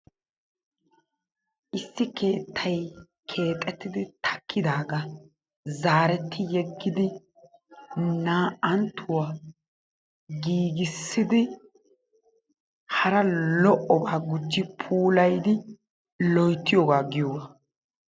Issi keettay keexxettidi takkiddaaga zaaretti yeggidi naa"anttuwa giggissidi hara lo"obaa gujji puulayidi loyttiyogaa giyogaa.